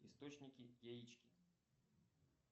источники яички